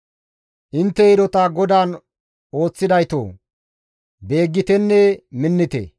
Intte hidota GODAAN ooththidaytoo! Beeggitenne minnite.